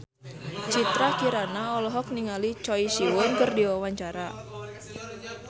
Citra Kirana olohok ningali Choi Siwon keur diwawancara